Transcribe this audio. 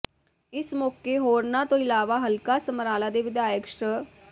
ਇਸ ਮੌਕੇ ਹੋਰਨਾਂ ਤੋਂ ਇਲਾਵਾ ਹਲਕਾ ਸਮਰਾਲਾ ਦੇ ਵਿਧਾਇਕ ਸ੍ਰ